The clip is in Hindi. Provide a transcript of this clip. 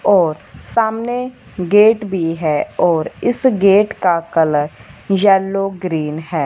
और सामने गेट भी है और इस गेट का कलर येलो ग्रीन हैं।